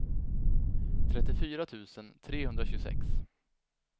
trettiofyra tusen trehundratjugosex